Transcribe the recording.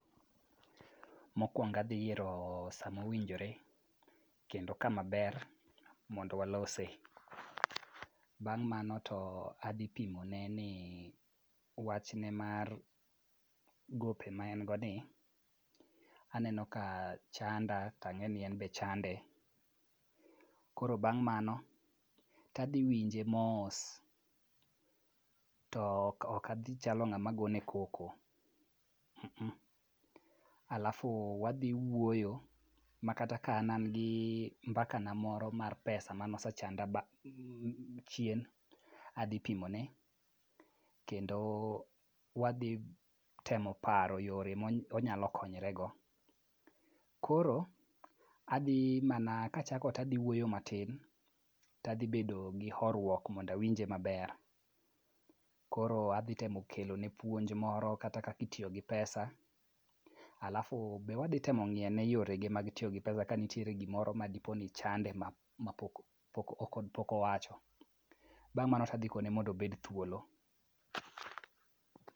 Mokwongo adhi yiero sa mowinjore kendo kama ber mondo walose. Bang' mano to adhi pimone ni wachne mar gope ma en go ni, aneno ka chanda tang'eni en be chande, koro bang' mano tadhi winje mos, to ok adhi chalo ng'ama gone koko. Alafu wadhi wuoyo makata ka an an gi mbakana moro mar pesa manosechanda chien, adhi pimone kendo wadhi temo paro yore monyalo konyrego. Koro, adhi mana, kachako tadhi wuoyo matin, tadhi bedo gi horruok mondo awinje maber. Koro adhi temo kelone puonj moro kata kaka itiyo gi pesa ,alafu be wadhi temo ng'iyo ane yorege mag tiyo gi pesa kanitiere gimoro madipo ni chande mapok owacho. Bang' mano to adhi kone mondo obed thuolo.